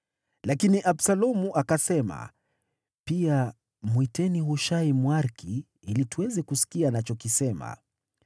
Lakini Absalomu akasema, “Pia mwiteni Hushai, Mwariki, ili tuweze kusikia anachokisema.”